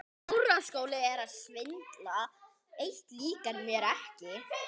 Eitt líkar mér ekki.